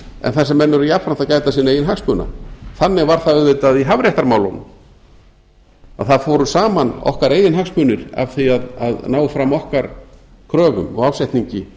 en þar sem menn eru jafnframt að gæta sinna eigin hagsmuna þannig var það auðvitað í hafréttarmálunum að það fóru saman okkar eigin hagsmunir af því að ná fram okkar kröfum og ásetningi